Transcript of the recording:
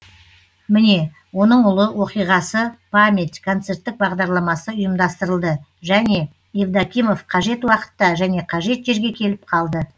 міне оның ұлы оқиғасы память концерттік бағдарламасы ұйымдастырылды және евдокимов қажет уақытта және қажет жерге келіп қалды